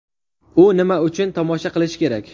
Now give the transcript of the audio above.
Uni nima uchun tomosha qilish kerak?